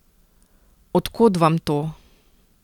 Od kod vam to?